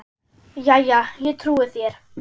Jæja, ég trúi þér.